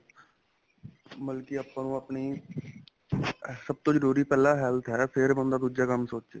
ਮਤਲਬ ਕੀ ਆਪਾਂ ਨੂੰ ਆਪਣੀ ਸਭ ਤੋ ਜਰੂਰੀ ਪਹਿਲਾਂ health ਏ ਫ਼ੇਰ ਬੰਦਾ ਦੂਜਾ ਕੰਮ ਸੋਚੇ